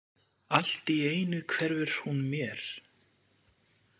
Allt í einu hverfur hún mér.